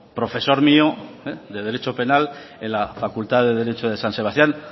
profesor mío de derecho penal en la facultad de derecho de san sebastián